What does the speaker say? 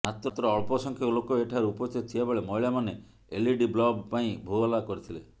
ମାତ୍ର ଅଳ୍ପ ସଂଖ୍ୟକ ଲୋକ ଏଠାରେ ଉପସ୍ଥିତ ଥିବାବେଳେ ମହିଳାମାନେ ଏଲଇଡିବ୍ଲବ ପାଇଁ ହୋହଲ୍ଲା କରିଥିଲେ